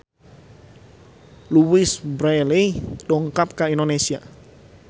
Louise Brealey dongkap ka Indonesia